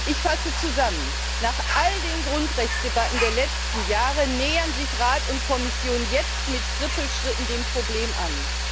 Ich fasse zusammen Nach all den Grundrechtsdebatten der letzten Jahre nähern sich Rat und Kommission jetzt mit Trippelschritten dem Problem an.